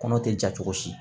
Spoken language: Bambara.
Kɔnɔ tɛ ja cogo si